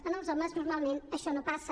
en els homes normalment això no passa